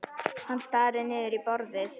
Hann starir niður í borðið.